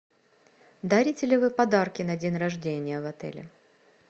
дарите ли вы подарки на день рождения в отеле